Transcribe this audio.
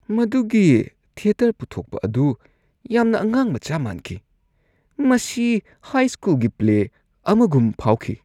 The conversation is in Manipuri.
ꯃꯗꯨꯒꯤ ꯊꯤꯌꯦꯇꯔ ꯄꯨꯊꯣꯛꯄ ꯑꯗꯨ ꯌꯥꯝꯅ ꯑꯉꯥꯡꯃꯆꯥ ꯃꯥꯟꯈꯤ ꯫ ꯃꯁꯤ ꯍꯥꯏꯁ꯭ꯀꯨꯜꯒꯤ ꯄ꯭ꯂꯦ ꯑꯃꯒꯨꯝ ꯐꯥꯎꯈꯤ꯫